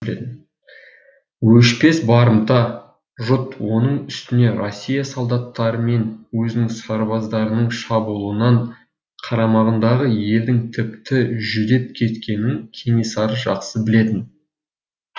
өшпес барымта жұт оның үстіне россия солдаттары мен өзінің сарбаздарының шабуылынан қарамағындағы елдің тіпті жүдеп кеткенін кенесары жақсы білетін